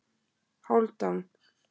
Hálfdan